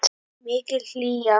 Mikil hlýja.